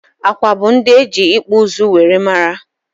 Awka bụ ndị eji ịkpụ ụzụ wee mara